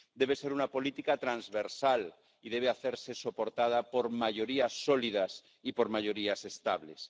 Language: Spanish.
Debe ser una política transversal y debe hacerse soportada por mayorías sólidas y por mayorías estables.